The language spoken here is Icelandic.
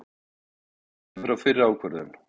Víkjum ekki frá fyrri ákvörðun